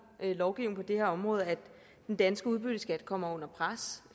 lovgivningen på det her område at den danske udbytteskat kommer under pres